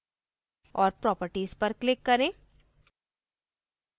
और properties पर click करें